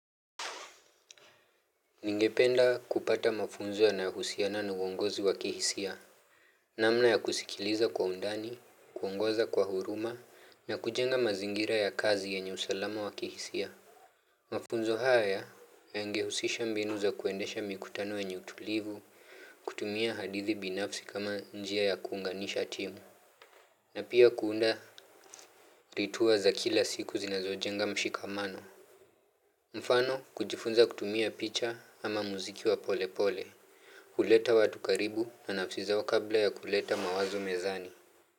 Ningependa kupata mafunzo ya nahusiana na uongozi wa kihisia. Namna ya kusikiliza kwa undani, kuongoza kwa huruma, na kujenga mazingira ya kazi ya yenye usalama wakihisia. Mafunzo haya ya ngehusisha mbinu za kuendesha mikutano yenye utulivu, kutumia hadithi binafsi kama njia ya kuunganisha timu. Na pia kuunda ritua za kila siku zinazojenga mshikamano. Mfano kujifunza kutumia picha ama muziki wa pole pole. Huleta watu karibu na nafsi zao kabla ya kuleta mawazo mezani.